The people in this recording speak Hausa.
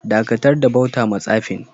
Dakatar da bauta ma tsafin!